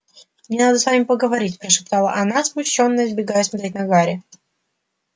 мне надо с вами поговорить прошептала она смущённо избегая смотреть на гарри